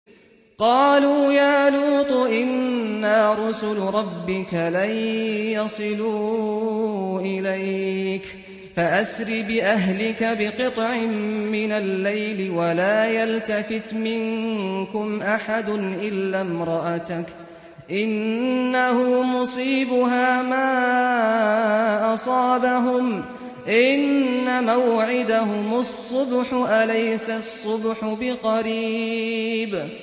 قَالُوا يَا لُوطُ إِنَّا رُسُلُ رَبِّكَ لَن يَصِلُوا إِلَيْكَ ۖ فَأَسْرِ بِأَهْلِكَ بِقِطْعٍ مِّنَ اللَّيْلِ وَلَا يَلْتَفِتْ مِنكُمْ أَحَدٌ إِلَّا امْرَأَتَكَ ۖ إِنَّهُ مُصِيبُهَا مَا أَصَابَهُمْ ۚ إِنَّ مَوْعِدَهُمُ الصُّبْحُ ۚ أَلَيْسَ الصُّبْحُ بِقَرِيبٍ